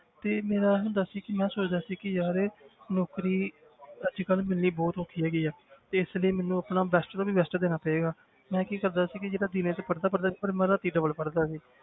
ਤੇ ਮੇਰਾ ਹੁੰਦਾ ਸੀ ਕਿ ਮੈਂ ਸੋਚਦਾ ਸੀ ਕਿ ਯਾਰ ਨੌਕਰੀ ਅੱਜ ਕੱਲ੍ਹ ਮਿਲਣੀ ਬਹੁਤ ਔਖੀ ਹੈਗੀ ਹੈ ਤੇ ਇਸ ਲਈ ਮੈਨੂੰ ਆਪਣਾ best ਤੋਂ ਵੀ best ਦੇਣਾ ਪਏਗਾ ਮੈਂ ਕੀ ਕਰਦਾ ਸੀ ਕਿ ਜਿਹੜਾ ਦਿਨੇ ਤੇ ਪੜ੍ਹਦਾ ਹੀ ਪੜ੍ਹਦਾ ਸੀ ਪਰ ਮੈਂ ਰਾਤੀ double ਪੜ੍ਹਦਾ ਸੀ।